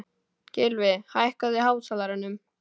Gylfi, hækkaðu í hátalaranum.